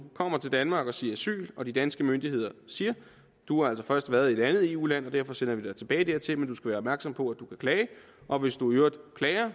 kommer til danmark og siger asyl og de danske myndigheder siger du har altså først været i et andet eu land og derfor sender vi dig tilbage dertil men du skal være opmærksom på at du kan klage og hvis du i øvrigt klager